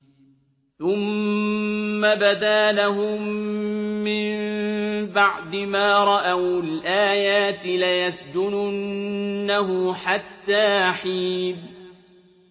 ثُمَّ بَدَا لَهُم مِّن بَعْدِ مَا رَأَوُا الْآيَاتِ لَيَسْجُنُنَّهُ حَتَّىٰ حِينٍ